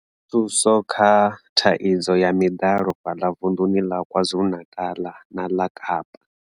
Thuso kha thaidzo ya miḓalo fhaḽa vunḓuni ḽa KwaZulu-Natal na ḽa Kapa.